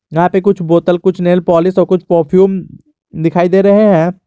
यहा पे कुछ बोतल कुछ नेल पालिश और कुछ परफ्यूम दिखाई दे रहे है।